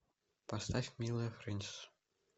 поставь милая френсис